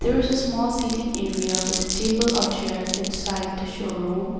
There is the small sitting area with a table are chairs inside the showroom. i